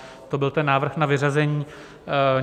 To byl ten návrh na vyřazení.